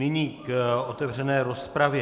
Nyní k otevřené rozpravě.